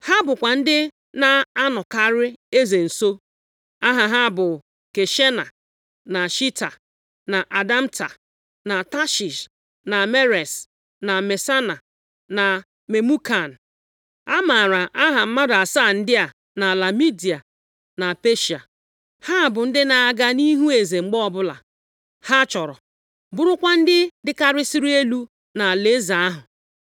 Ha bụkwa ndị na-anọkarị eze nso. Aha ha bụ Kashena, na Sheta, na Admata, na Tashish, na Meres, na Masena, na Memukan. A maara aha mmadụ asaa ndị a nʼala Midia na Peshịa. Ha bụ ndị na-aga nʼihu eze mgbe ọbụla ha chọrọ, bụrụkwa ndị dịkarịsịrị elu nʼalaeze ahụ.